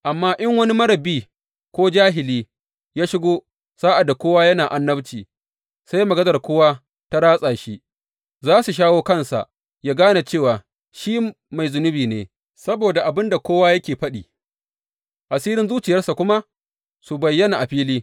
Amma in wani marar bi, ko jahili ya shigo sa’ad da kowa yana annabci, sai maganar kowa ta ratsa shi, za su shawo kansa yă gane cewa shi mai zunubi ne saboda abin da kowa yake faɗi, asirin zuciyarsa kuma su bayyana a fili.